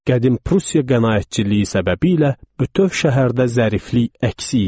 Qədim Prusiya qənaətçiliyi səbəbiylə bütöv şəhərdə zəriflik əksik idi.